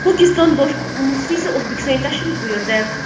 Pokiston Bosh muftiysi O‘zbekistonga tashrif buyurdi.